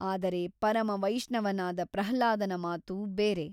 ಆದರೆ ಪರಮವೈಷ್ಣವನಾದ ಪ್ರಹ್ಲಾದನ ಮಾತು ಬೇರೆ.